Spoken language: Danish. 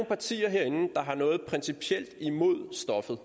partier herinde der har noget principielt imod stoffet